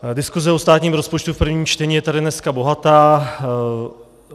Diskuse o státním rozpočtu v prvním čtení je tady dneska bohatá.